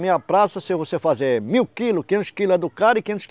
Meia praça, se você fazer mil quilos, quinhentos quilos é do cara e quinhentos